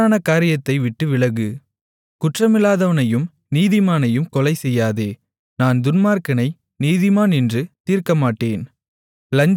தவறான காரியத்தை விட்டுவிலகு குற்றமில்லாதவனையும் நீதிமானையும் கொலைசெய்யாதே நான் துன்மார்க்கனை நீதிமான் என்று தீர்க்கமாட்டேன்